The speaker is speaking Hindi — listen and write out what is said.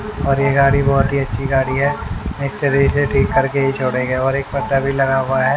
और ये गाड़ी बहुत ही अच्छी गाड़ी है मिस्त्री इसे ठीक कर के ही छोड़ेंगे और एक बंदा भी लगा हुआ है।